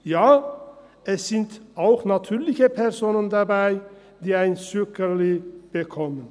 Ja, es sind auch natürliche Personen dabei, die ein Zückerchen bekommen.